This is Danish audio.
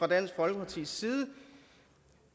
dansk folkepartis side